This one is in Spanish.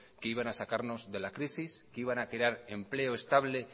que iban a sacarnos de la crisis que iban a crear empleo estable